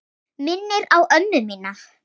Minnir á ömmu mína.